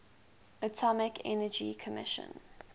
atomic energy commission